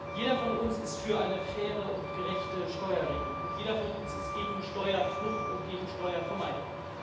Jeder von uns ist für eine faire und gerechte Steuerregelung, und jeder von uns ist gegen Steuerflucht und gegen Steuervermeidung.